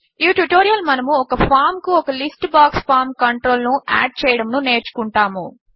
ఈ ట్యుటోరియల్ మనము ఒక ఫామ్ కు ఒక లిస్ట్ బాక్స్ ఫార్మ్ కంట్రోల్ ను యాడ్ చేయడమును నేర్చుకుంటాము